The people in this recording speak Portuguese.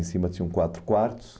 Em cima tinham quatro quartos.